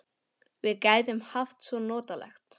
Við gætum haft það svo notalegt.